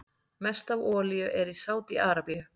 Mest af olíu er í Sádi-Arabíu.